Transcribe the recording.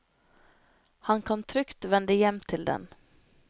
Han kan trygt vende hjem til den.